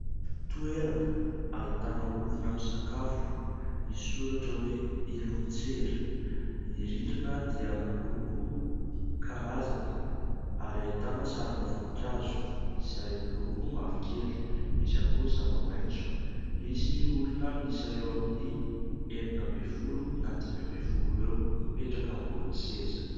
Toerana ahitana olona misakafo misy soratra hoe Ilontsera. Ny rindrina dia miloko karazany ary ahitana sarina voninkazo izay miloko mavokely, misy ihany koa ny zava-maitso. Misy olona miisa eo amin'ny enina ambin'ny folo na dimy ambin'ny folo eo mipetraka ambony seza.